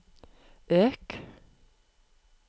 øk